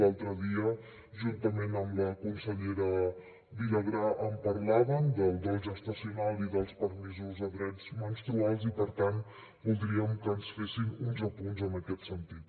l’altre dia juntament amb la consellera vilagrà en parlaven del dol gestacional i dels permisos de drets menstruals i per tant voldríem que ens fessin uns apunts en aquest sentit